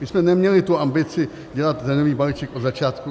My jsme neměli tu ambici dělat daňový balíček od začátku.